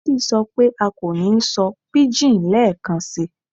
Daddy sọ pe a ko ni sọ pidgin lẹẹkansi